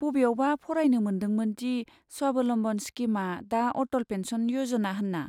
बबेयावबा फरायनो मोन्दोंमोन दि स्वाबलम्बन स्किमआ दा अटल पेन्सन य'जना होन्ना?